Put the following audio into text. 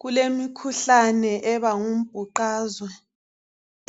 Kulemikhuhlane eba ngumbhuqazwe